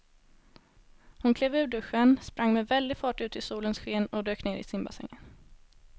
Hon klev ur duschen, sprang med väldig fart ut i solens sken och dök ner i simbassängen.